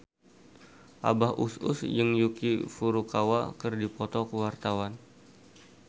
Abah Us Us jeung Yuki Furukawa keur dipoto ku wartawan